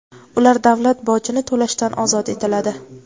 ular davlat bojini to‘lashdan ozod etiladi.